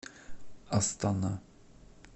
астана